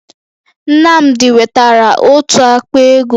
Nnamdi wetara otu àkpà égo